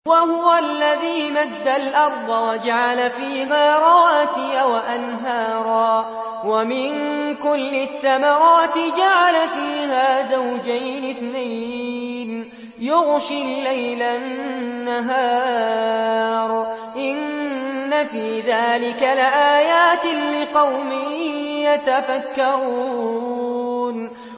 وَهُوَ الَّذِي مَدَّ الْأَرْضَ وَجَعَلَ فِيهَا رَوَاسِيَ وَأَنْهَارًا ۖ وَمِن كُلِّ الثَّمَرَاتِ جَعَلَ فِيهَا زَوْجَيْنِ اثْنَيْنِ ۖ يُغْشِي اللَّيْلَ النَّهَارَ ۚ إِنَّ فِي ذَٰلِكَ لَآيَاتٍ لِّقَوْمٍ يَتَفَكَّرُونَ